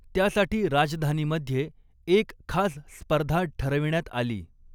त्यासाठी राजधानीमध्ये एक खास स्पर्धा ठरविण्यात आली.